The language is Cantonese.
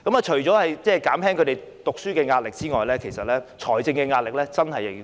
除了減輕他們的讀書壓力之外，財政上的壓力也要兼顧。